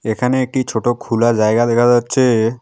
এখানে একটি ছোট খুলা জায়গা দেখা যাচ্ছে।